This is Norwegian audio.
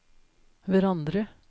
hverandre